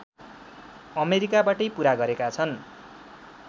अमेरिकाबाटै पूरा गरेका छन्।